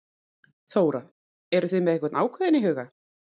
Þóra: Eruð þið með einhvern ákveðinn í huga?